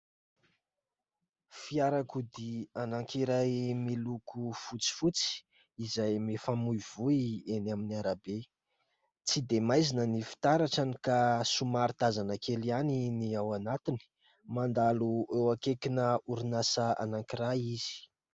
Fiarakodia anankiray miloko fotsifotsy, izay mifamoivoy eny amin'ny arabe. Tsy dia maizina ny fitaratrany ka somary tazana kely ihany ny ao anatiny. Mandalo eo ankaikina orinasa anankiray izy.